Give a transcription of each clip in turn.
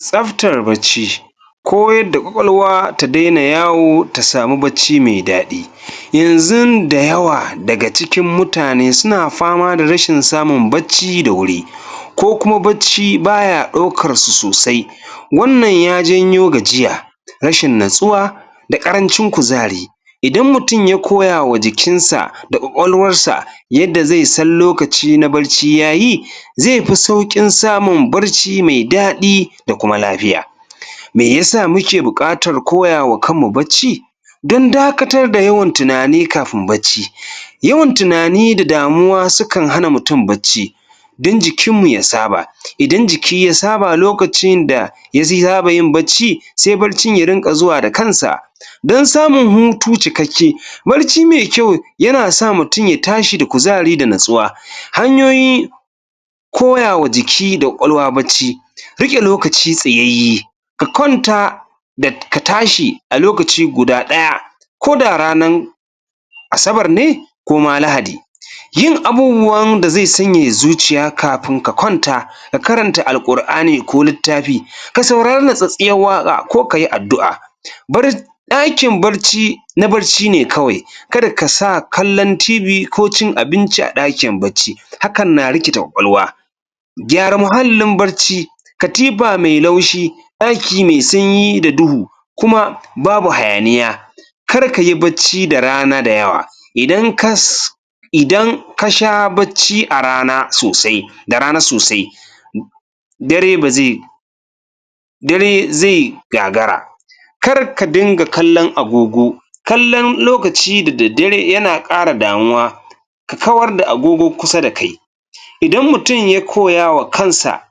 Tsabtar barci Koyar da ƙwaƙwalwa ta daina yawo ta samu bacci mai daɗi yanzun da yawa daga cikin mutane suna fama da rashin samun bacci da wuri ko kuma baya ɗaukarsu sosai wannan ya janyo gajiya rashin natsuwa da ƙarancin kuzari idan mutum ya koya wa jikinsa da ƙwaƙwalwarsa yadda zai san lokaci na barci yayi zai fi sauƙin samun barci mai daɗi da kuma lafiya mai ya sa muke buƙatar koya wa kanmu bacci don dakatar da yawan tunani kafin barci yawan tunani da damuwa yakan hana mutum barci, don jikinmu ya saba idan jiki ya saba lokacinda ya saba yin barci, sai barcin ya zo da kansa. donsamun hutu cikakke barci mai kyau yana sa mutum ya tashi da kuzari da natsuwa hnyoyi koyawa jiki da ƙwaƙwalwa bacci riƙe lokaci tsayayye ka kwanta da ka tashi a lokaci guda ɗaya koda ranar Asabar ne ko ma Lahadi yin abubuwan da zai sanyaya zuciya kafin ka kwanta, ka karanta Alƙur'ani ko littafi ka saurari natsatstsiyar waƙa ko kayi addu'a, ɗakin barci na barci ne kawai ka da ka sa kallon TV ko cin abinci a ɗakin barci, hakan na rikita ƙwaƙwalwa. gyara muhallin barci, katifa mai laushi ɗaki mai sanyi da duhu kuma ba bu hanayiya kar ka yi barci da rana da yawa idan ka sha bacci a rana da rana sosai dare ba zai dare zai gagagra kar ka dinga kallon agogo kallon lokaci da daddare yna ƙara damuwa. kawar da agogo kusa da kai, idan mutum ya koya wa kansa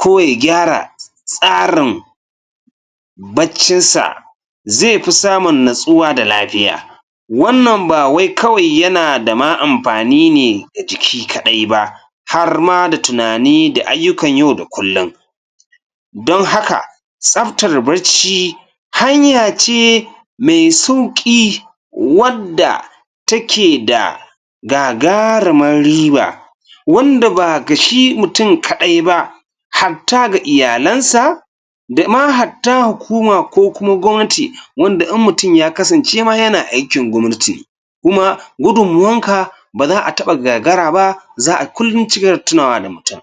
ko ya gyara tsarin baccinsa zai fi samun nutsuwa da lafiya wannan ba wai kawai yana da ma amfani ne ga jiki kaɗai ba, har ma ga tunani da ayyukan yau da kullum. Don haka tsabatar bacci hanya ce mai sauƙi wadda take da gagarumar riba wanda ba ga shi mutum kaɗai ba, hatta ga iyalansa da ma hatta hukuma ko gwamnati wanda in ma ya kasance mutum yana aikin gwamnati ne kuma gudunmuwanka ba za a taɓa gagara ba za a kullum ci gaba da tunanwa da mutum.